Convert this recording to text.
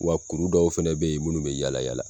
Wa kuru dɔw fɛnɛ bɛ yen minnu bɛ yala yala